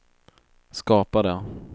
skapade